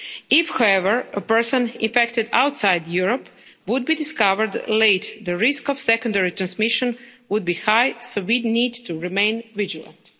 If, however, a person infected outside Europe would be discovered late, the risk of secondary transmission would be high, so we need to remain vigilant.